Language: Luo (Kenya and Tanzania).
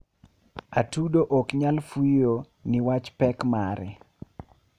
atudo oknyal fuyo niwach pek mare